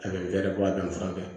A bɛ bɛrɛ bɔ a danfara kɛ